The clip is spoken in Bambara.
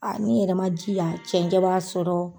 A ni yɛrɛ ma di ya cɛncɛn b'a sɔrɔ.